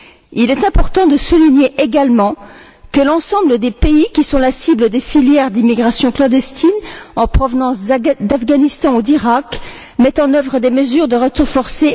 Il est important de souligner également que l'ensemble des pays qui sont la cible des filières d'immigration clandestine en provenance d'Afghanistan ou d'Iraq mettent en œuvre des mesures de retour forcé.